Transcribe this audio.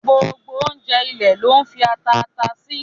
Gbogbo ọ̀unjẹ̀ ilẹ̀ ló n fi atà àtà sì.